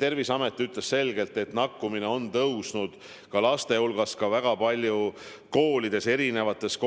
Terviseamet aga ütles selgelt, et nakatumine on tõusnud ka laste hulgas, väga palju just koolides, eri klassides ja